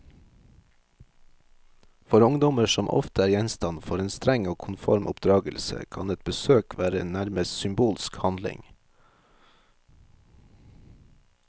For ungdommer, som ofte er gjenstand for en streng og konform oppdragelse, kan et besøk være en nærmest symbolsk handling.